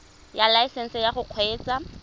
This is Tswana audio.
ya laesesnse ya go kgweetsa